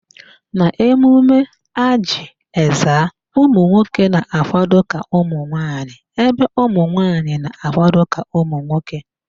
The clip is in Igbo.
N'emume Ajị Ezza, ụmụnwoke na-akwado ka nwaanyị ebe ụmụnwanyị na-akwado ka nwoke